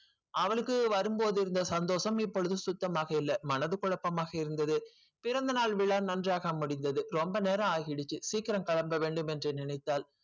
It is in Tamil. அவளுக்கு வரும் போது இருந்த சந்தோசம் இப்போது சுத்தமாக இல்ல மனது கொளப்பமாக இருந்தது பிறந்தநாள் விழா நன்றாக முடிந்தது ரொம்ப நேரம் ஆகிடுச்சு சீக்கரம் கிளம்ப வேண்டும் என்று நினைத்தால்